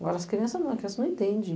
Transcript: Agora as crianças não, a criança não entende.